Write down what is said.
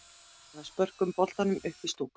Eða spörkum boltanum upp í stúku?